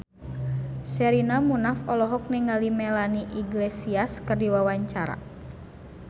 Sherina Munaf olohok ningali Melanie Iglesias keur diwawancara